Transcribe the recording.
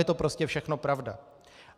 Je to prostě všechno pravda.